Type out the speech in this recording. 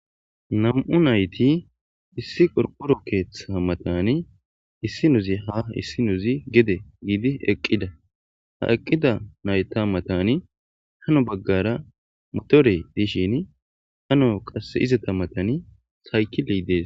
Nam'u nayiti issi qoriqoro keeththa matani issinozi ha issinozi gede gidizi eqiza ha eqida nayita matani hano bagara motore dishini hano qase izata matani sikile des.